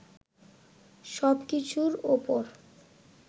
সব কিছুর ওপর